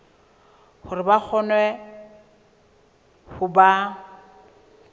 hore ba kgone ho ba